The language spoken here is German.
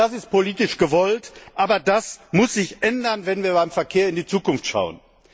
Das ist politisch gewollt, aber das muss sich ändern, wenn wir beim Verkehr in die Zukunft schauen.